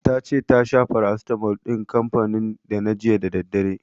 Ta ce ta sha farasitamol din kanfanin Dana jiya da daddare.